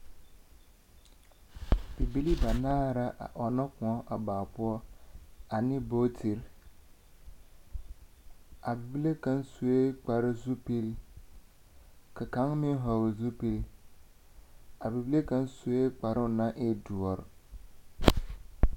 Bibilii banaar’a a ɔnnɔ kõɔ a baa poɔ ane bootiri. A bibile kaŋ sue kparzupil, ka kaŋ meŋ hɔɔl zupil. A bibile kaŋ sue kparoo naŋ e doɔr.